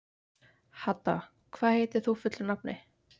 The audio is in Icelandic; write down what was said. Hadda, hvað heitir þú fullu nafni?